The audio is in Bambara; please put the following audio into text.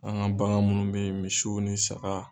An ka bagan munnu bɛ ye misiw ni sagaw.